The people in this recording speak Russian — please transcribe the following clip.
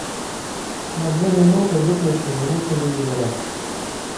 на две минуты выключи звук телевизора